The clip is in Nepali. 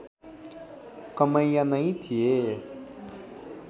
कमैया नै थिए